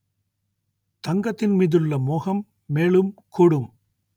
தங்கத்தின் மீதுள்ள மோகம் மேலும் கூடும்